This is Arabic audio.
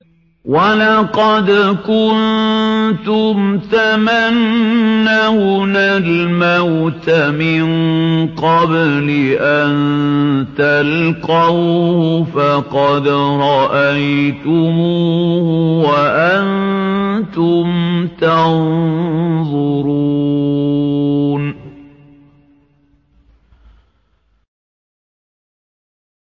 وَلَقَدْ كُنتُمْ تَمَنَّوْنَ الْمَوْتَ مِن قَبْلِ أَن تَلْقَوْهُ فَقَدْ رَأَيْتُمُوهُ وَأَنتُمْ تَنظُرُونَ